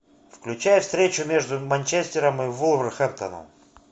включай встречу между манчестером вулверхэмптоном